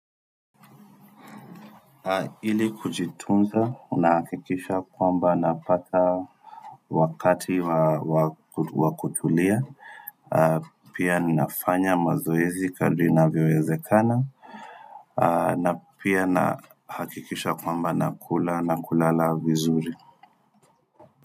Ili kujitunza ninahakikisha kwamba napata wakati wa kutulia pia ninafanya mazoezi kadri inavyowezekana na pia nahakikisha kwamba nakula na kulala vizuri.